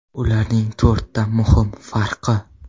Ularning to‘rtta muhim farqi.